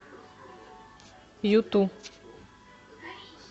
юту